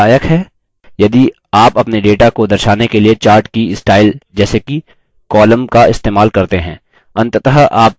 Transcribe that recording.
यह लाभदायक है यदि आप अपने data को दर्शाने के लिए chart की स्टाइल जैसे कि column का इस्तेमाल करते हैं